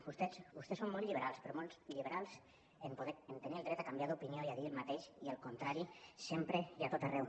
vostès són molt liberals però molt liberals a tenir el dret a canviar d’opinió i a dir el mateix i el contrari sempre i a tot arreu